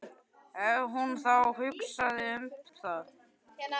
Ef hún þá hugsaði um það.